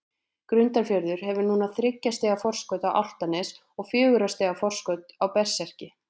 Grundarfjörður hefur núna þriggja stiga forskot á Álftanes og fjögurra stiga forskot á Berserki.